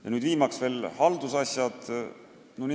Ja siis on veel haldusasjad.